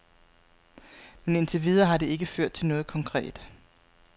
Men indtil videre har det ikke ført til noget konkret.